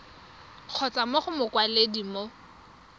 kgotsa mo go mokwaledi mo